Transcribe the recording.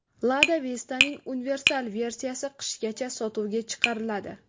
Lada Vesta’ning universal versiyasi qishgacha sotuvga chiqariladi.